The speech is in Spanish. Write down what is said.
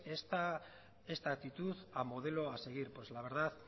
esta actitud a modelo a seguir pues la verdad